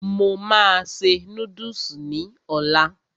Mo máa se núdùsì ní ọlá